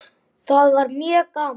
Það var mjög gaman.